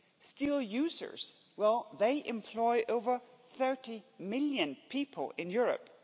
Steel users, well they employ over 30 million people in Europe.